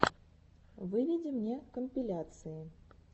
выведи мне компиляции